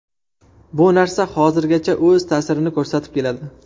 Bu narsa hozirgacha o‘z ta’sirini ko‘rsatib keladi.